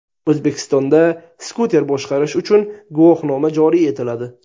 O‘zbekistonda skuter boshqarish uchun guvohnoma joriy etiladi.